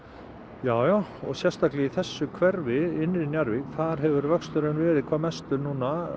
já sérstaklega í þessu hverfi innri Njarðvík þar hefur vöxturinn verið hvað mestur